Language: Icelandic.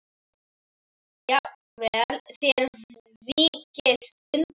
Jafnvel þér víkist undan!